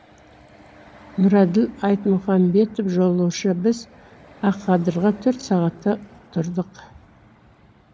нұрәділ айтмұхамбетов жолаушы біз ақадырда төрт сағатта тұрдық